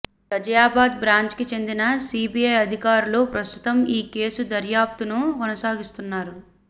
ఘజియాబాద్ బ్రాంచ్కి చెందిన సీబీఐ అధికారులు ప్రస్తుతం ఈ కేసు దర్యాప్తును కొనసాగిస్తున్నారు